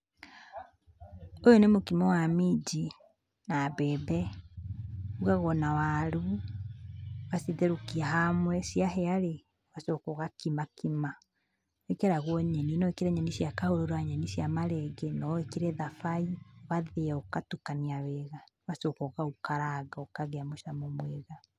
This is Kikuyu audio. Ũyũ nĩ mũkimo wa minji, na mbembe. Ũrugagwo na waru, ũgacitherũkia hamwe, ciahĩa-rĩ, ũgacoka ũgakima kima. Nĩ ciĩkĩragwo nyeni. No wĩkĩre nyeni cia kahũrũra, nyeni cia marenge, no wĩkĩre thabai, ũgathĩa, ũgatukania wega, ũgacoka ũkaũkaranga, ũkagĩa mũcamo mwega.